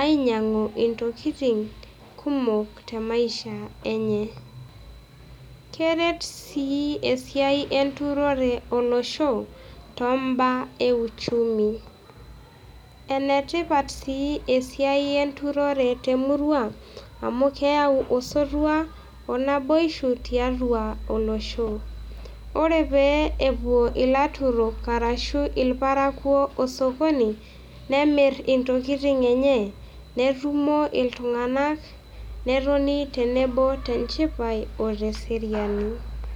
aainyang'u intokitin kumok temaisha enye. Keret sii esiai enturore olosho too`mbaa euchumi. Enetipat sii esiai enturore temurua, amuu keyau osotua o naiboisho tiatu olosho. Ore pee epuo ilaturok aashu il`parakuo osokoni, nemir intokitin enye, netumo il`tung'anak, netoni tenebo tenchipai o te seriani.